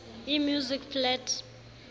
e music flat